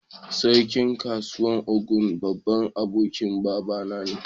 Sarkin kasan Ogun, babban abokin baba na ne.